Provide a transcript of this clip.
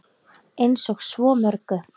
Eins og svo mörgu.